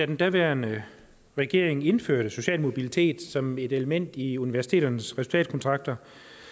den daværende regering indførte social mobilitet som et element i universiteternes resultatkontrakter